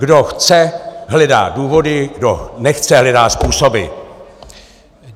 Kdo chce, hledá důvody, kdo nechce, hledá způsoby.